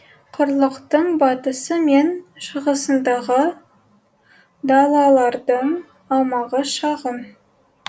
құрлықтың батысы мен шығысындағы далалардың аумағы шағын